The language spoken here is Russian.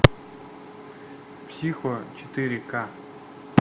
психо четыре ка